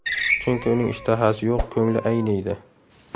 Chunki uning ishtahasi yo‘q, ko‘ngli ayniydi.